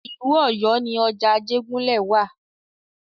Ìlú Ọ̀yọ́ ni ọjà Ajégúnlẹ̀ wa.